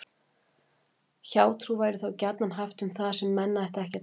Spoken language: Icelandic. Hjátrú væri þá gjarnan haft um það sem menn ættu ekki að trúa.